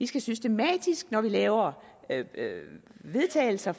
skal systematisk når vi laver vedtagelser